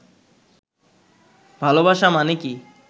ভালবাসা মানে কি